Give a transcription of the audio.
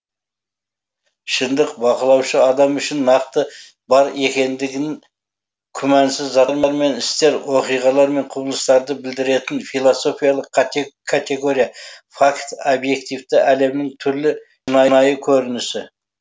шындық бақылаушы адам үшін нақты бар екендігін күмәнсіз мен істер оқиғалар мен құбылыстарды білдіретін философиялық категория факт объективті әлемнің түрлі көрінісі